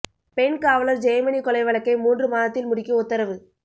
பெண் காவலர் ஜெயமணி கொலை வழக்கை மூன்று மாதத்தில் முடிக்க உத்தரவு